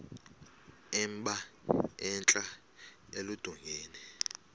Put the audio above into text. emba entla eludongeni